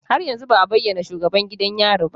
Har yanzu ba a bayyana shugaban gidan yari ba